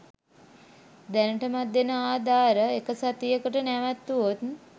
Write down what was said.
දැනටමත් දෙන ආධාර එක සතියකට නැවැත්තුවොත්